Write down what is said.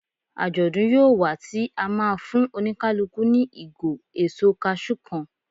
Ajodun yíò wá ti a ma fún oníkálukú ni igo èso cashew kan